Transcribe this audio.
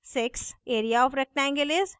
area of rectangle is 20